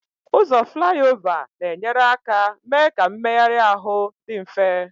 Ụzọ Flyover na-enyere aka mee ka mmegharị ahụ dị mfe.